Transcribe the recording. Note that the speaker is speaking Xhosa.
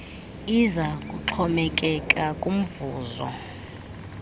iza kuxhomekeka kumvuzo